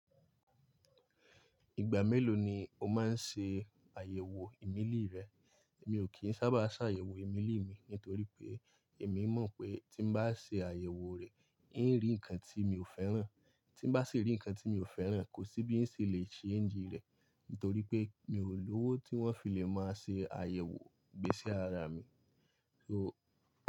Ìgbà mélòó ni o máa ń ṣe àyẹ̀wò ìmelí rẹ? Mi ò kí ń sábà ṣàyẹ̀wò ìmelí mi nítorí pé èmi mọ̀ pé tí bá ṣe àyẹ̀wò rẹ̀, n ó rí ǹkan tí mi ò fẹ́ràn, tí bá sì rí ǹkan tí mi ò fẹ́ràn, kò sí bí n ṣe le ṣe ń jí rẹ̀ nítorí pé mi ò lówó tí wọ́n fi lè máa ṣe àyẹ̀wò gbé sí ara mi. So.